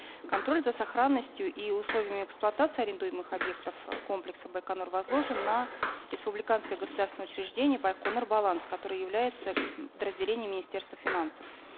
контроль за сохранностью и условиями эксплуатации арендуемых объектов комплекса байконур возложен на республиканское государственное учреждение байқоңыр баланс которое является подразделением министерства финансов